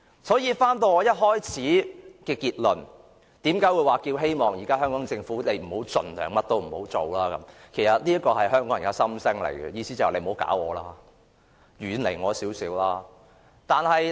所以，返回我一開始說的結論，為何我建議政府現時盡量甚麼都不要做，這是香港人的心聲，意思便是："你不要搞我，遠離我一點吧！